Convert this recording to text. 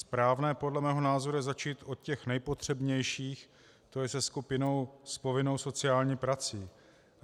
Správné podle mého názoru je začít od těch nejpotřebnějších, to je se skupinou s povinnou sociální prací.